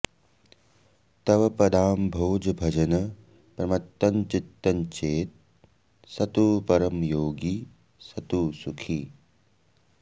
तव पदाम्भोजभजन प्रमत्तञ्चित्तञ्चेत् स तु परमयोगी स तु सुखी